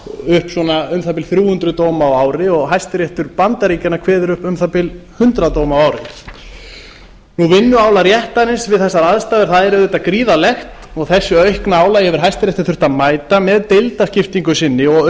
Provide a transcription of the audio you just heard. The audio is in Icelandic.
upp svona um það bil þrjú hundruð dóma á ári og hæstiréttur bandaríkjanna kveður upp um það bil hundrað dóma á ári vinnuálag réttarins við þessar aðstæður er auðvitað gríðarlegt og þessu aukna álagi hefur hæstiréttur þurft að mæta með deildaskiptingu sinni og